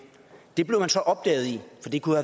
for det kunne